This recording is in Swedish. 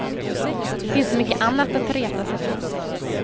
Det finns så mycket annat att reta sig på.